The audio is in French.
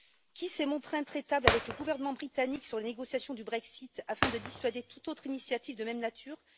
Qui s'est montré intraitable avec le gouvernement britannique sur les négociations du Brexit afin de dissuader toute autre initiative de même nature?